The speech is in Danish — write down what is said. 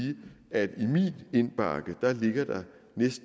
at inddrage